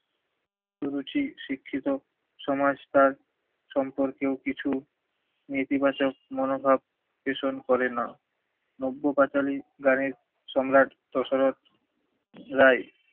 সুরুচি শিক্ষিত সমাজ তার সম্পর্কেও কিছু নীতিবাচক মনোভাব পেষণ করে না। নব্য পাঁচালী গানের সম্রাট দশরথ রায়